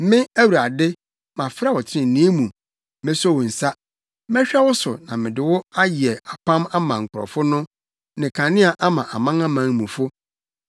“Me, Awurade, mafrɛ wo trenee mu; meso wo nsa. Mɛhwɛ wo so na mede wo ayɛ apam ama nkurɔfo no ne kanea ama amanamanmufo,